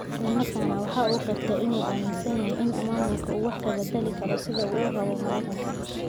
Isla markaana waxa uu qirtay in aanu aaminsanayn in maamulku uu wax ka bedeli karo sida uu rabo Maraykanka.